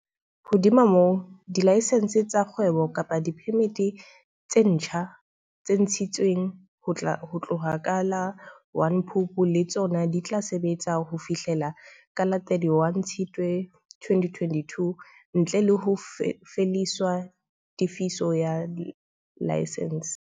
Hodima moo, dilaesense tsa kgwebo kapa diphemiti tse ntjha tse ntshi tsweng ho tloha ka la 1 Phupu le tsona di tla sebetsa ho fihlela ka la 31 Tshitswe 2022, ntle le ho lefiswa tefiso ya laesense.